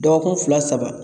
Dɔgɔkun fila saba